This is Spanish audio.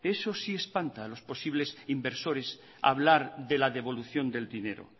eso sí espanta a los posibles inversores hablar de la devolución del dinero